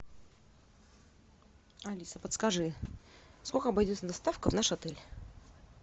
алиса подскажи сколько обойдется доставка в наш отель